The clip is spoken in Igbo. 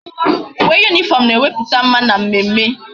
Uwe uniform na eweputa mma na mmemme